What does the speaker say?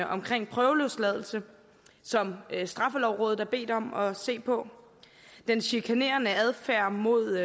omkring prøveløsladelse som straffelovrådet er blevet bedt om at se på den chikanerende adfærd mod